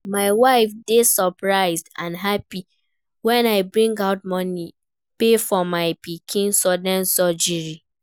My wife dey surprised and happy wen I bring out money pay for my pikin sudden surgery